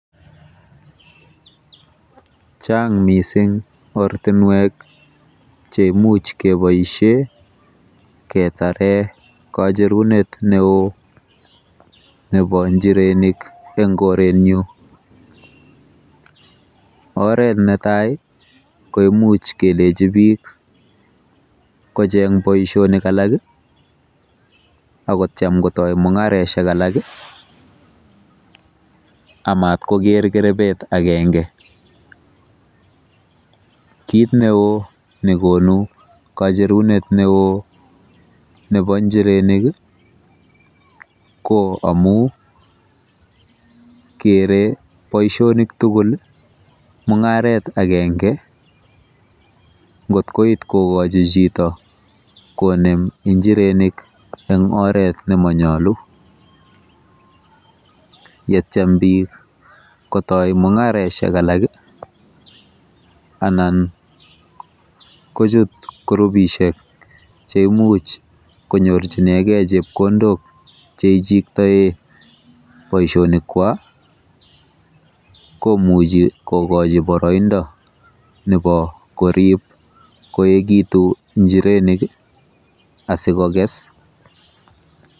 Chang mising ortinwek cheimuch keboisie ketare kacherunet neo nebo njirenik eng koretnyu. Oret netai kemuchi kelechi bik kocheng boisionik alak akotiem kotoi mung'areshek alak amatkoker kerebet agenge. KIt neoo nekonu kacherunet neoo nebo njirenik ko omu kere boisionik tugul mung'aret agenge ngot koit kokochi chito konem njirenik eng oret nemonyolu. Yetyam bik kotoi mung'areshek alak anan kochut kurupishek cheimuch kotoret konyorchigei chepkondok cheichiktoe boisionikwaa komuchi kokochi boroindo nebo korib koekitu njirenik asikokes.